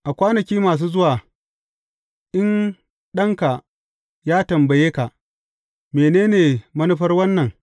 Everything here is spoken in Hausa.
A kwanaki masu zuwa, in ɗanka ya tambaye ka, Mene ne manufar wannan?’